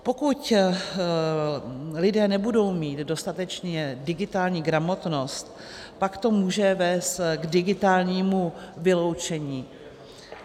Pokud lidé nebudou mít dostatečnou digitální gramotnost, pak to může vést k digitálnímu vyloučení.